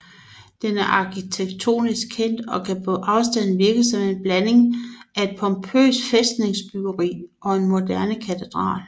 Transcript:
Den er arkitektonisk kendt og kan på afstand virke som en blanding af et pompøst fæstningsbyggeri og en moderne katedral